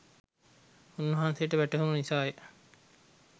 උන්වහන්සේට වැටහුණු නිසා ය.